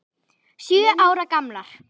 Sjö ára gamlar.